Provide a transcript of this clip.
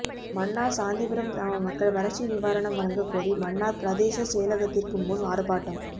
மன்னார் சாந்திபுரம் கிராம மக்கள் வறட்சி நிவாரணம் வழங்கக்கோரி மன்னார் பிரதேசச் செயலகத்திற்கு முன் ஆர்ப்பாட்டம்